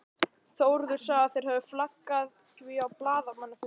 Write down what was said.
Þórður sagði að þeir hefðu flaggað því á blaðamannafundi.